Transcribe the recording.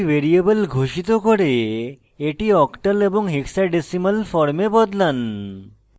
একটি ভ্যারিয়েবল ঘোষিত করে এটি octal এবং hexadecimal form বদলান